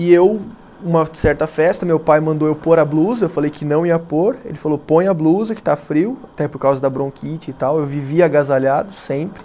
E eu, uma certa festa, meu pai mandou eu pôr a blusa, eu falei que não ia pôr, ele falou, põe a blusa que está frio, até por causa da bronquite e tal, eu vivia agasalhado sempre.